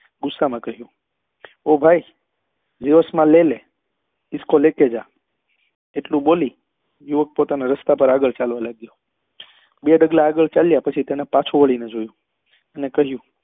ગુસ્સા માં કહ્યું ઓ ભાઈ માં લે લે ઇસકો લેકે જા એટલું બોલી યુવક પોતાના રસ્તા પર આગળ ચાલવા લાગ્યો બે ડગલા આગળ ચાલ્યા પછી તેને પાછું વળી ને જોયું ને કહ્યું